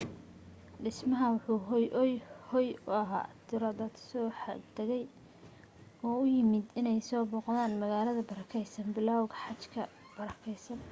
dhismaha waxa uu hooy u ahaa tiro dad soo xaj tagay oo u yimid in ay soo booqdan magaalada barakeysan bilawga xajka barakeysan